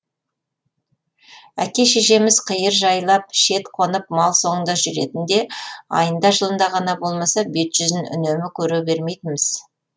әке шешеміз қиыр жайлап шет қонып мал соңында жүретін де айында жылында ғана болмаса бет жүзін үнемі көре бермейтінбіз